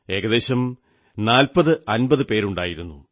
ഏകദേശം 4050 പേരുണ്ടായിരുന്നു